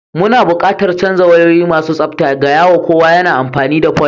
Muna buƙatar canza wayoyi masu tsabta, gaya wa kowa yana amfani da fol.